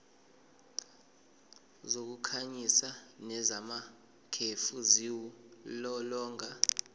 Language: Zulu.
zokukhanyisa nezamakhefu ziwulolonga